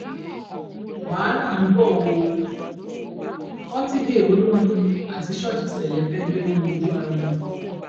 wàhálà ń bọ ọ pọtidé olórin àti ṣọọṣì ṣẹlẹ fẹẹ gbẹná wojú ara wọn